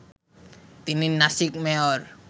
তিনি নাসিক মেয়র